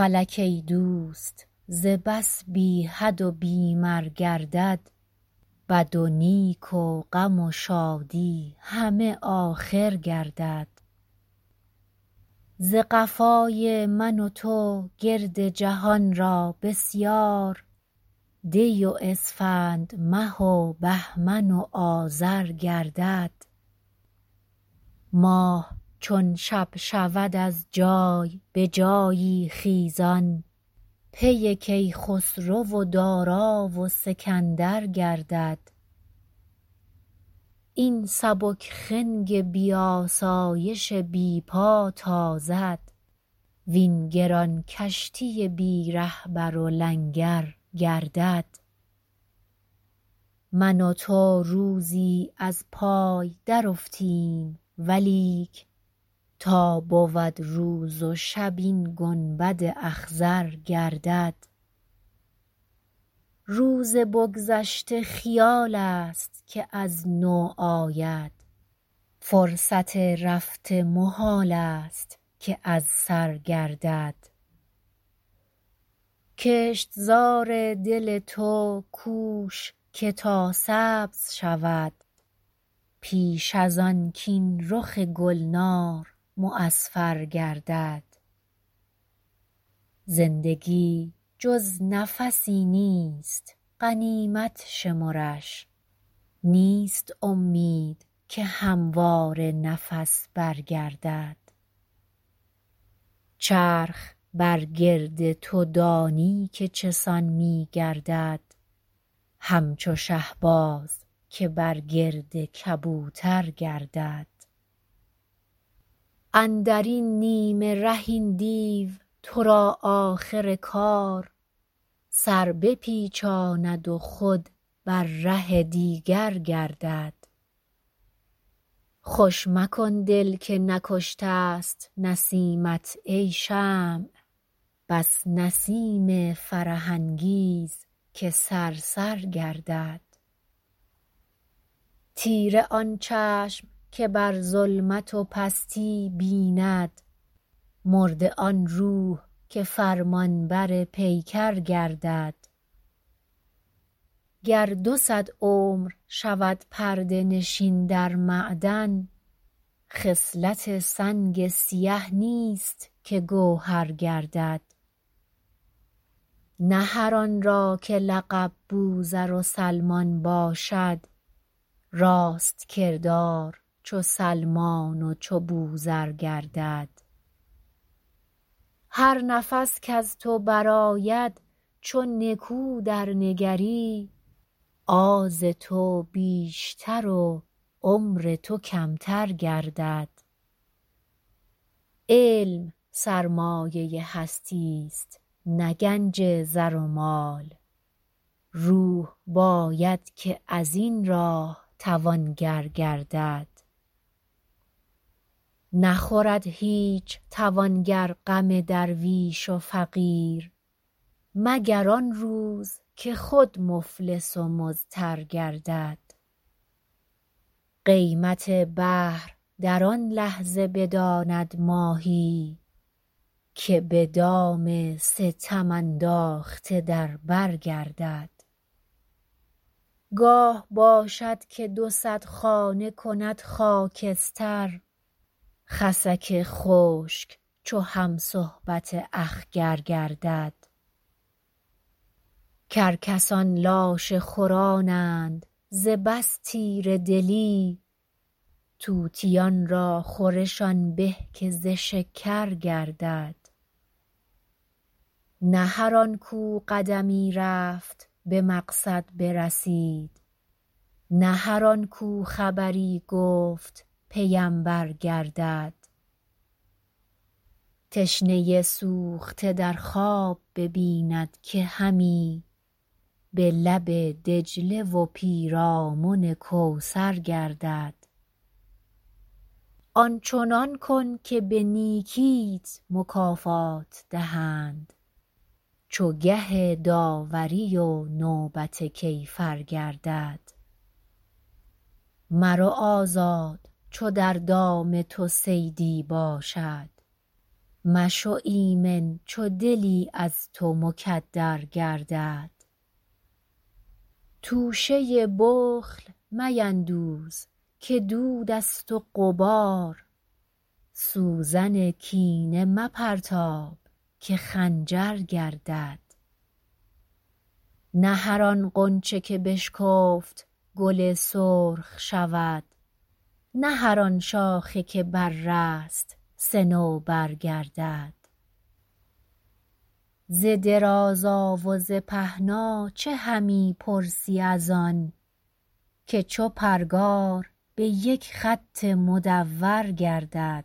فلک ای دوست ز بس بی حد و بی مر گردد بد و نیک و غم و شادی همه آخر گردد ز قفای من و تو گرد جهان را بسیار دی و اسفند مه و بهمن و آذر گردد ماه چون شب شود از جای به جایی حیران پی کیخسرو و دارا و سکندر گردد این سبک خنگ بی آسایش بی پا تازد وین گران کشتی بی رهبر و لنگر گردد من و تو روزی از پای در افتیم ولیک تا بود روز و شب این گنبد اخضر گردد روز بگذشته خیال است که از نو آید فرصت رفته محال است که از سر گردد کشتزار دل تو کوش که تا سبز شود پیش از آن کاین رخ گلنار معصفر گردد زندگی جز نفسی نیست غنیمت شمرش نیست امید که همواره نفس برگردد چرخ بر گرد تو دانی که چه سان می گردد همچو شهباز که بر گرد کبوتر گردد اندرین نیمه ره این دیو تو را آخر کار سر بپیچاند و خود بر ره دیگر گردد خوش مکن دل که نکشته ست نسیمت ای شمع بس نسیم فرح انگیز که صرصر گردد تیره آن چشم که بر ظلمت و پستی بیند مرده آن روح که فرمانبر پیکر گردد گر دو صد عمر شود پرده نشین در معدن خصلت سنگ سیه نیست که گوهر گردد نه هر آن را که لقب بوذر و سلمان باشد راست کردار چو سلمان و چو بوذر گردد هر نفس کز تو برآید چو نکو درنگری آز تو بیشتر و عمر تو کمتر گردد علم سرمایه هستی است نه گنج زر و مال روح باید که از این راه توانگر گردد نخورد هیچ توانگر غم درویش و فقیر مگر آن روز که خود مفلس و مضطر گردد قیمت بحر در آن لحظه بداند ماهی که به دام ستم انداخته در بر گردد گاه باشد که دو صد خانه کند خاکستر خسک خشک چو هم صحبت اخگر گردد کرکسان لاشه خورانند ز بس تیره دلی طوطیان را خورش آن به که ز شکر گردد نه هر آن کو قدمی رفت به مقصد برسید نه هر آن کو خبری گفت پیمبر گردد تشنه سوخته در خواب ببیند که همی به لب دجله و پیرامن کوثر گردد آنچنان کن که به نیکیت مکافات دهند چو گه داوری و نوبت کیفر گردد مرو آزاد چو در دام تو صیدی باشد مشو ایمن چو دلی از تو مکدر گردد توشه بخل میندوز که دود است و غبار سوزن کینه مپرتاب که خنجر گردد نه هر آن غنچه که بشکفت گل سرخ شود نه هر آن شاخه که بررست صنوبر گردد ز درازا و ز پهنا چه همی پرسی از آن که چو پرگار به یک خط مدور گردد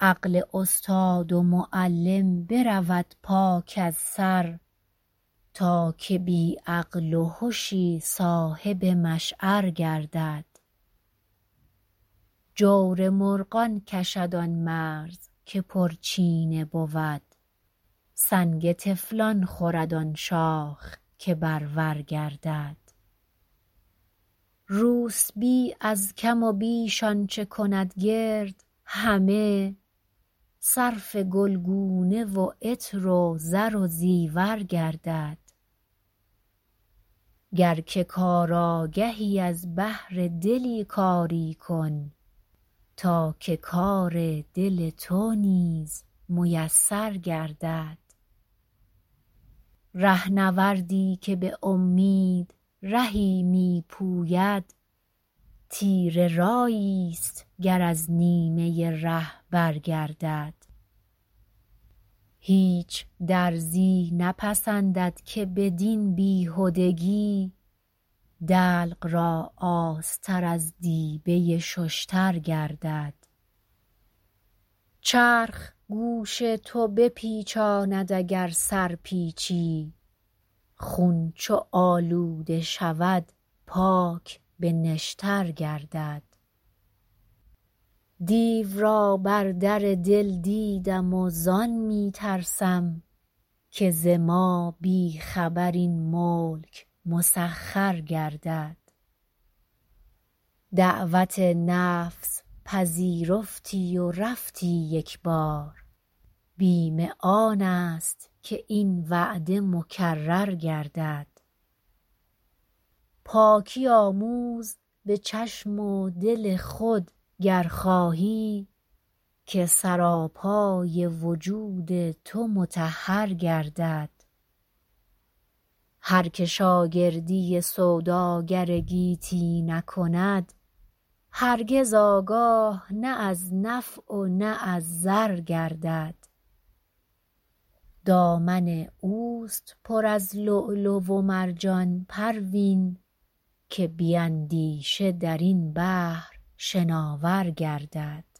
عقل استاد و معلم برود پاک از سر تا که بی عقل و هشی صاحب مشعر گردد جور مرغان کشد آن مرز که پرچینه بود سنگ طفلان خورد آن شاخ که برور گردد روسبی از کم و بیش آنچه کند گرد همه صرف گلگونه و عطر و زر و زیور گردد گر که کار آگهی از بهر دلی کاری کن تا که کار دل تو نیز میسر گردد رهنوردی که به امید رهی می پوید تیره رایی است گر از نیمه ره برگردد هیچ درزی نپسندد که بدین بیهدگی دلق را آستر از دیبه ششتر گردد چرخ گوش تو بپیچاند اگر سر پیچی خون چو آلوده شود پاک به نشتر گردد دیو را بر در دل دیدم و زان می ترسم که ز ما بی خبر این ملک مسخر گردد دعوت نفس پذیرفتی و رفتی یک بار بیم آن است که این وعده مکرر گردد پاکی آموز به چشم و دل خود گر خواهی که سراپای وجود تو مطهر گردد هر که شاگردی سوداگر گیتی نکند هرگز آگاه نه از نفع و نه از ضر گردد دامن اوست پر از لؤلؤ و مرجان پروین که بی اندیشه در این بحر شناور گردد